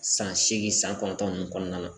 San seegin san kɔnɔntɔn nunnu kɔnɔna na